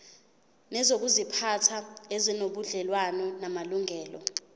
nezokuziphatha ezinobudlelwano namalungelo